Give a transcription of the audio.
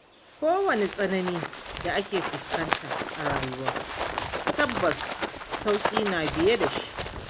Ko wani tsanani da aka fuskanta a rayuwa, tabbas sauƙi na biye da shi.